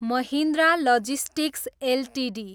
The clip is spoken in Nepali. Mahindra logistics Ltd